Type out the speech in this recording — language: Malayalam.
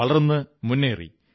വളർന്നു മുന്നേറി